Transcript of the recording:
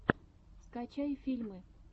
скачай фильмы